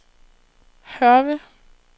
Hørve